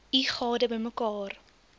u gade bymekaar